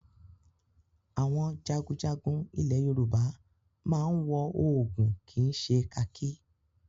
Àwọn jagunjagun ilẹ̀ Yorùbá máa ń wọ òògùn kì í ṣe kakí.